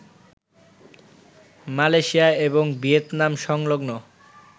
Malaysia এবং Vietnam সংলগ্ন